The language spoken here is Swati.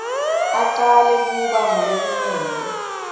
acale kuba ngulekumele